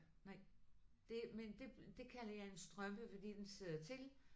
Nej. Det men det det kalder jeg en strømpe fordi den sidder til